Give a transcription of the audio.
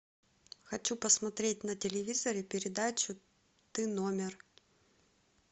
хочу посмотреть на телевизоре передачу ты номер